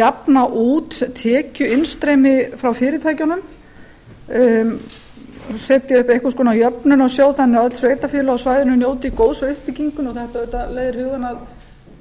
jafna út tekjuinnstreymi frá fyrirtækjunum setja upp einhvers konar jöfnunarsjóð þannig að öll sveitarfélög á svæðinu njóti góðs af uppbyggingunni þetta auðvitað leiðir hugann